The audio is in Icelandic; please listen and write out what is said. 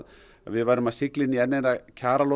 við værum að sigla inn í enn eina